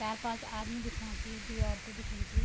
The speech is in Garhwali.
चार पांच आदमी दिखणा छी द्वि औरतें दिखणी च।